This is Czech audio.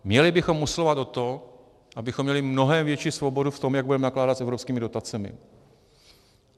Měli bychom usilovat o to, abychom měli mnohem větší svobodu v tom, jak budeme nakládat s evropskými dotacemi.